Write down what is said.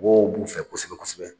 Mɔgɔw b'u fɛ kosɛbɛ kosɛbɛ.